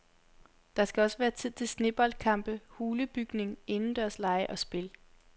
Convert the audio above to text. Der skal også være tid til sneboldkampe, hulebygning, indendørslege og spil.